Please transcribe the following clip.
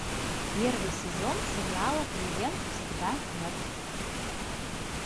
первый сезон сериала клиент всегда мертв